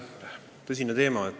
Tõsine teema!